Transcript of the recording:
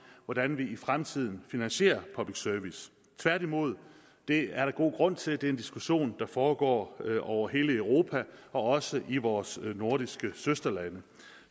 hvordan vi i fremtiden finansierer public service tværtimod det er der god grund til det er en diskussion der foregår over hele europa og også i vores nordiske søsterlande